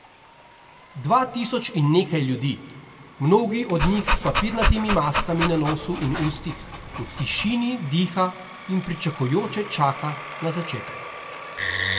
Dva tisoč in nekaj ljudi, mnogi od njih s papirnatimi maskami na nosu in ustih, v tišini diha in pričakujoče čaka na začetek.